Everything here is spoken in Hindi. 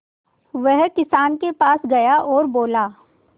वह किसान के पास गया और बोला